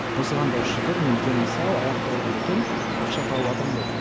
осыған да шүкір мен денім сау аяқ қолым бүтін ақша тауыватырмын ғой